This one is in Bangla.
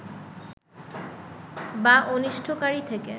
বা অনিষ্টকারী থেকে